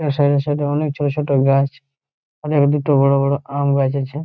তার সাইড এ সাইড এ অনেক ছোট ছোট গাছ। অনেক দুটো বড় বড় আম গাছ আছে